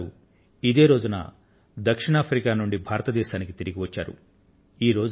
గాంధీ గారు ఇదే తేదీన దక్షిణ ఆఫ్రికా నుండి భారతదేశానికి తిరిగి వచ్చారు